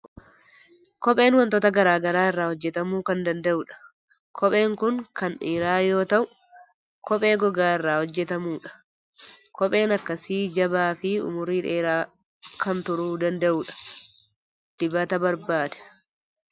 Kopheen waantota garaa garaa irraa hojjetamuu kan danda'udha. Kopheen kun kan dhiiraa yoo ta'u, kophee gogaa irraa hojjetamu dha. Kopheen akkasi jabaa fi umurii dheeraa kan turuu danda'udha. Dibata barbaada.